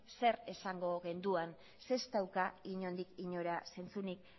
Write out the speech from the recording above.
zer esango genduan zeren ez dauka inondik inora zentzurik